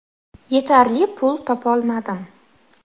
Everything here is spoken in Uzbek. Yetarli pul topolmadim.